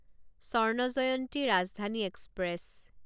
Swarna Jayanti Rajdhani express